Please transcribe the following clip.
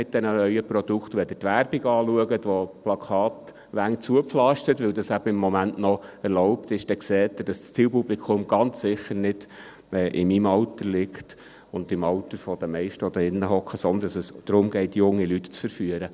Wenn Sie die Werbung anschauen, mit der Plakatwände zugepflastert sind, weil dies im Moment eben noch erlaubt ist, sehen Sie, dass das Zielpublikum ganz sicher nicht in meinem Alter ist oder im Alter der meisten, die hier drin sitzen, sondern dass es darum geht, junge Leute zu verführen.